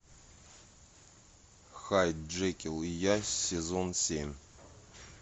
хайд джекил и я сезон семь